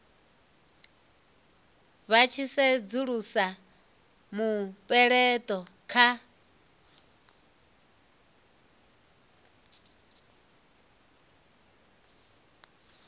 vha tshi sedzulusa mupeleto kha